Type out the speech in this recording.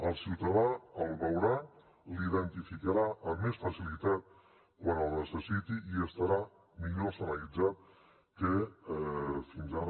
el ciutadà el veurà l’identificarà amb més facilitat quan el necessiti i estarà millor senyalitzat que fins ara